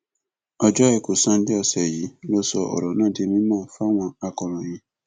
ọjọ àìkú sánńdé ọsẹ yìí ló sọ ọrọ náà di mímọ fáwọn akọròyìn